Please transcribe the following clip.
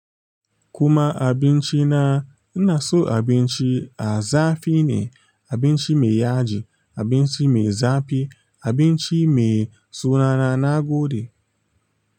Kuma abinci na, ina so abinci a zafi ne, abinci mai yaji, abinci mai zafi, abinci mai suwana na gode.